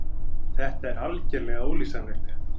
Þetta er algerlega ólýsanlegt.